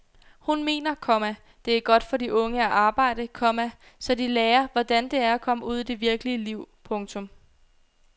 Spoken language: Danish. Hun mener, komma det er godt for de unge at arbejde, komma så de lærer hvordan det er at komme ud i det virkelige liv. punktum